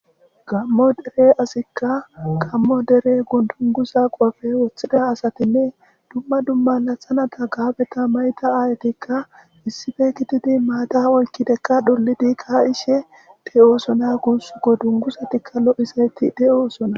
Gaamo dere asika gaamo woga dunguza qope wothida asatinne dumma dumma laxanata gaabeta mayida ayetika issippe gididika mata oykidika ka'ishe de'osona gusuko.dunguzatika lo'izayta de'osona.